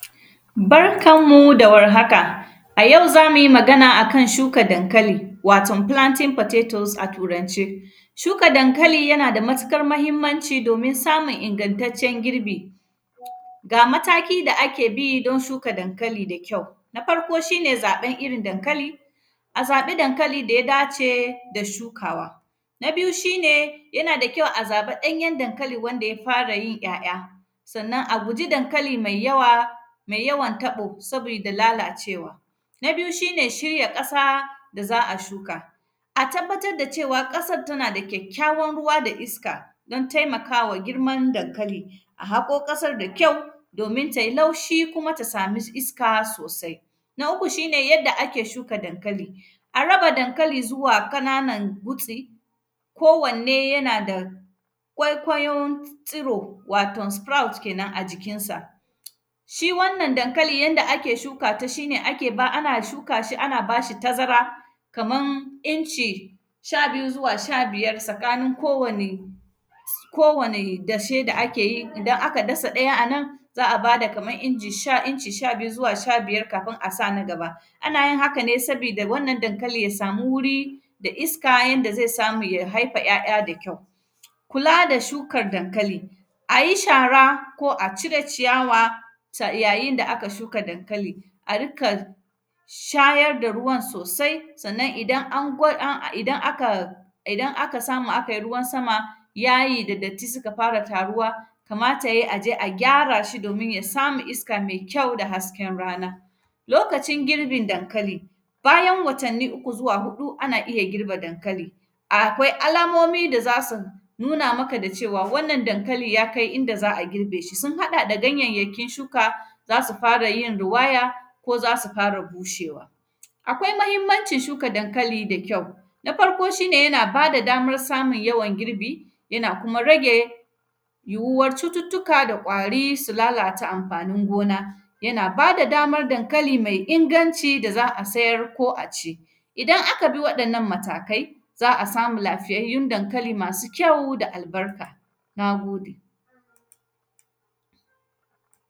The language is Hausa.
Bakan mu da warhaka, a yau za mu yi magan a kan shuka dankali, waton “planting potatos” a Turance. Shuka dankali, yana da matikar mahimmanci domin samun ingantaccen girbi. Ga mataki da ake bi, don shuka dankali da kyau, na farko, shi ne zaƃan irin dankali, a zaƃi dankali da ya dace da shukawa. Na biyu, shi ne yana da kyau a zaƃa ɗanyen dankali wanda ya fara yin ‘ya’ya. Sannan, a guji dankali mai yawa, mai yawan taƃo, sabida lalacewa. Na bityu, shi ne shirya ƙasa da za a shuka. A tabbatad da cewa, ƙasad tana da kyakkyawan ruwa da iska, don temaka wa girman dankali. A haƙo ƙasar da kyau, domin tai laushi kuma ta sami iska sosai. Na uku, shi ne yadda ake shuka dankali, a raba dankali zuwa kananan gutsi, kowanne yana da kwaikwayon tsiro, waton “sprout” kenan, a jikinsa. Shi wannan dankali, yanda ake shuka ta, shi ne ake ba; ana shuka shi, ana ba shi tazara, kaman inci sha biyu zuwa sha biyar sakanin kowani s; kowani dashe da ake yi. Idan aka dasa ɗaya a nan, za a ba da kaman inji sha; inci sha biyu zuwa sha biyar kafin a san a gaba. Ana yin haka ne, sabida wannan dankali ya samu wuri da iska yanda ze samu ya haifa ‘ya’ya da kyau. Kula da shukar dankali, a yi shara ko a cire ciyawa, sa; yayin da aka shuka dankali. A rika, shayar da ruwan sosai, sannan idan an gwa; an, idan aka, idan aka samu akai ruwan sama, yayi da datti sika fara taruwa, kamata yai a je a gyara shi domin ya sami iska mai kyau da hasken rana. Lokacin girbin dankali, bayan watanni uku zuwa huɗu, ana iya girbe dankali, akwai alamomi da za si nuna maka da cewa, wannan dankali ya kai inda za a girbe shi. Sun haɗa da ganyayyakin shuka, za si fara yin riwaya ko za si fara bushewa. Akwai mahimmancin shuka dankali da kyau, na farko, shi ne yana ba da damar samun yawan girbi, yana kuma rage yiwuwar cututtuka da ƙwari, su lalata amfanin gona. Yana ba da damar dankali mai inganci da za a sayar ko a ci. Idan aka bi waɗannan matakai, Za a samu lafiyayyun dankali masu kyau da albarka, na gode.